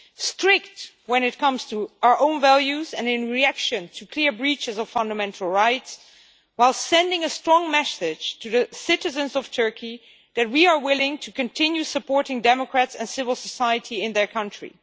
Strict when it comes to our own values and in reaction to clear breaches of fundamental rights, while sending a strong message to the citizens of Turkey that we are willing to continue supporting democrats and civil society in their country.